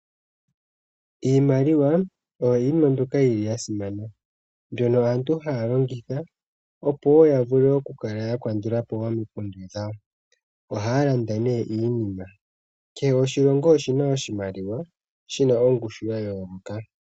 Iimaliwa oyo yimwe mbyoka yili ya simana, mbyono aantu haya longitha opo woo yavule okukala yakandulapo omikundu dhawo, ohaya landa nee iinima. Kehe oshilongo oshina oshimaliwa shina ongushu ya yooloka.